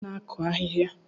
Ònye bụ onye na-akụ ahịhịa?